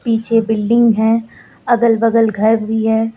पीछे बिल्डिंग है। अगल बगल घर भी है।